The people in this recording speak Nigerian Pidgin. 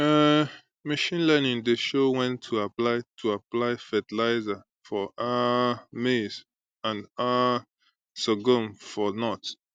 um machine learning dey show when to apply to apply fertilizer for um maize and um sorghum for north